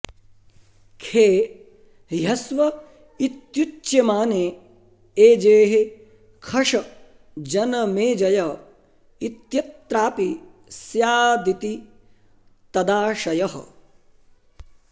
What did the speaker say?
खे ह्यस्व इत्युच्यमाने एजेः खश जनमेजय इत्यत्रापि स्यादिति तदाशयः